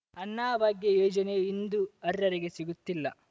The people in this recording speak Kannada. ಅನ್ನಭಾಗ್ಯ ಯೋಜನೆಯು ಇಂದು ಅರ್ಹರಿಗೆ ಸಿಗುತಿಲ್ಲ